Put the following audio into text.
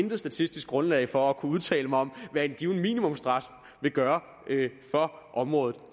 intet statistisk grundlag for at kunne udtale mig om hvad en given minimumsstraf vil gøre for området